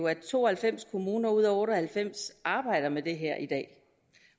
at to og halvfems kommuner ud af otte og halvfems arbejder med det her i dag